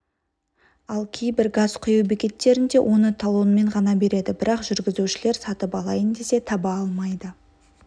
ал кейбір газ құю бекеттерінде оны талонмен ғана береді бірақ жүргізушілер сатып алайын десе таба алмайды